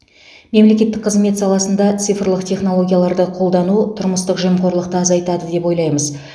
мемлекеттік қызмет саласында цифрлық технологияларды қолдану тұрмыстық жемқорлықты азайтады деп ойлаймыз